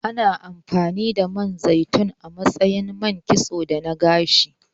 Ana amfani da Man zaitun a matsayin man kitso da na gashi.